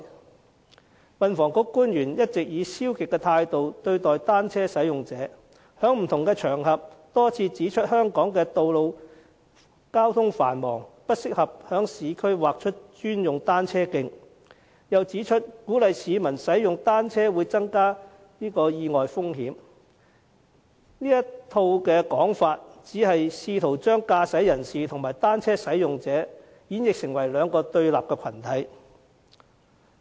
運輸及房屋局官員一直以消極的態度對待單車使用者，在不同場合上多次指出，香港的道路交通繁忙，不適合在市區劃出專用單車徑，又指出鼓勵市民使用單車會增加意外風險，這套說法只是試圖將駕駛人士和單車使用者演繹成為兩個對立的群體。